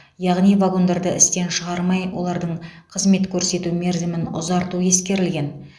яғни вагондарды істен шығармай олардың қызмет көрсету мерзімін ұзарту ескерілген